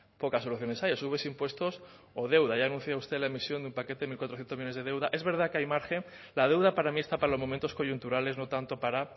pocas soluciones hay o subes impuestos o deuda ya anunció usted la emisión de un paquete de mil cuatrocientos millónes de deuda es verdad que hay margen la deuda para mí está para los momentos coyunturales no tanto para